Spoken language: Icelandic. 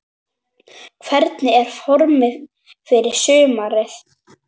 Hvernig er formið fyrir sumarið?